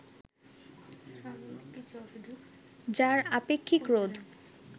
যার আপেক্ষিক রোধ